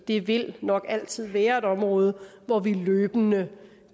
det vil nok altid være et område hvor vi løbende